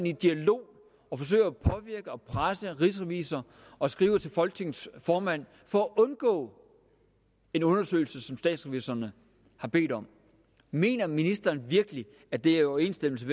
i dialog og forsøger at påvirke og presse rigsrevisor og skriver til folketingets formand for at undgå en undersøgelse som statsrevisorerne har bedt om mener ministeren virkelig at det er i overensstemmelse